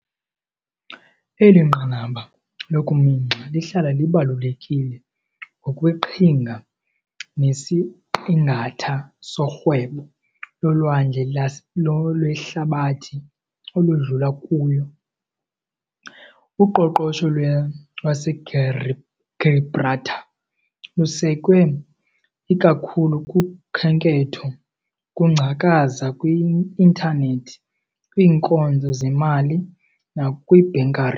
Eli nqanaba lokuminxa lihlala libalulekile ngokweqhinga, nesiqingatha sorhwebo lolwandle lolwehlabathi oludlula kuyo. Uqoqosho lwaseGibraltar lusekwe ikakhulu kukhenketho, ukungcakaza kwi-intanethi, kwiinkonzo zezimali, nakwi-bunkering.